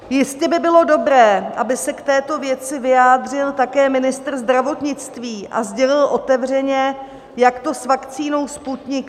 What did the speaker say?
Jistě by bylo dobré, aby se k této věci vyjádřil také ministr zdravotnictví a sdělil otevřeně, jak to s vakcínou Sputnik